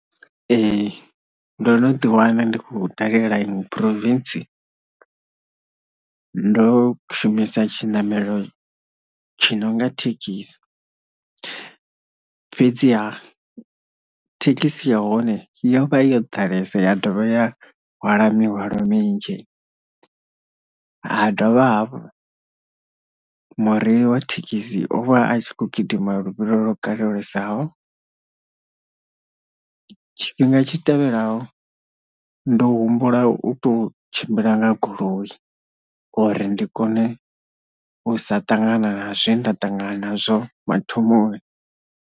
Ee ndo no ḓi wana ndi khou dalela iṅwe province ndo shumisa tshinamelo tshi nonga thekhisi, fhedziha thekhisi ya hone yo vha yo ḓalesa ya dovha ya hwala mihwalo minzhi, ha dovha hafhu mureili wa thekhisi o vha a tshi khou gidima luvhilo lwo kalulesaho tshifhinga tshi tevhelaho ndo humbula u to tshimbila nga goloi uri ndi kone u sa ṱangana na zwe nda ṱangana nazwo mathomoni.